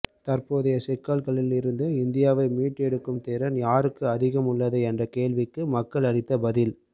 தற்போதைய சிக்கல்களில் இருந்து இந்தியாவை மீட்டெடுக்கும் திறன் யாருக்கு அதிகம் உள்ளது என்ற கேள்விக்கு மக்கள் அளித்த பதில்